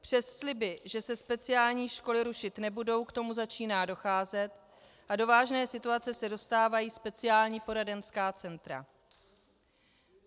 Přes sliby, že se speciální školy rušit nebudou, k tomu začíná docházet a do vážné situace se dostávají speciální poradenská centra.